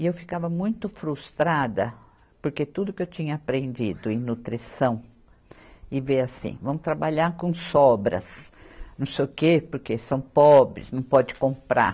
E eu ficava muito frustrada, porque tudo que eu tinha aprendido em nutrição, e veio assim, vamos trabalhar com sobras, não sei o quê, porque são pobres, não pode comprar.